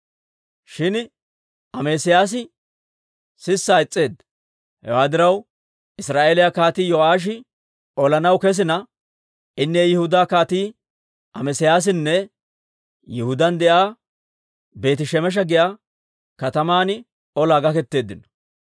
Shin Amesiyaasi sissaa is's'eedda. Hewaa diraw, Israa'eeliyaa Kaatii Yo'aashi olanaw kesina, inne Yihudaa Kaatii Amesiyaasinne Yihudaan de'iyaa Beeti-Shemesha giyaa kataman olaa gaketeeddino.